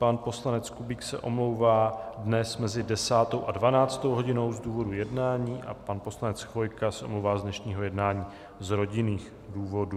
Pan poslanec Kubík se omlouvá dnes mezi 10. a 12. hodinou z důvodu jednání a pan poslanec Chvojka se omlouvá z dnešního jednání z rodinných důvodů.